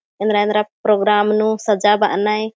ऐंद्रा-ऐंद्रा प्रोग्राम नू सज्जा बअनय।